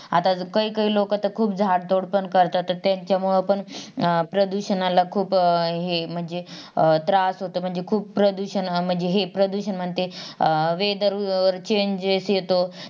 आत काही काही लोक तर खूप झाडतोड पण करतात तर त्यांच्यामुळे पण अं प्रदूषणाला खूप अं हे म्हणजे अं त्रास होतो म्हणजे खूप प्रदूषण म्हणजे हे प्रदूषण मध्ये Weather changes होतो